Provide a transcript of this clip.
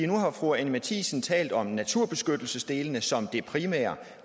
nu har fru anni matthiesen talt om naturbeskyttelsesdelene som det primære